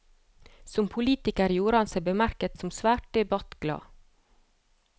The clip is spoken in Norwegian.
Som politiker gjorde han seg bemerket som svært debattglad.